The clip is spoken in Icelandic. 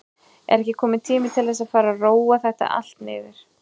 Er ekki kominn tími til að fara að róa þetta aðeins niður?